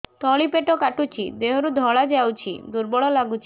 ତଳି ପେଟ କାଟୁଚି ଦେହରୁ ଧଳା ଯାଉଛି ଦୁର୍ବଳ ଲାଗୁଛି